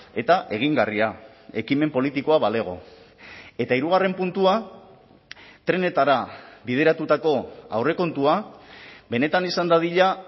eta egingarria ekimen politikoa balego eta hirugarren puntua trenetara bideratutako aurrekontua benetan izan dadila